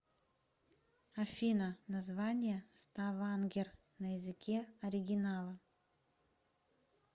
афина название ставангер на языке оригинала